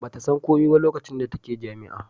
ba ta san komai ba lokacin da take jami'a